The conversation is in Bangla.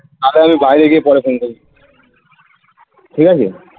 আরে আমি বাইরে গিয়ে পরে phone করছি ঠিক আছে